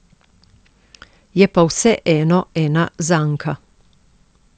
Je pa vseeno ena zanka.